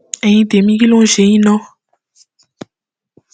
ẹyin tèmi kí ló ń ṣe yín ná